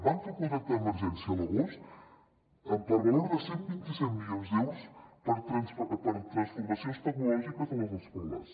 van fer un contracte d’emergència a l’agost per valor de cent i vint set milions d’euros per a transformacions tecnològiques a les escoles